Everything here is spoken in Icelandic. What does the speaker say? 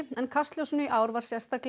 en kastljósinu í ár var sérstaklega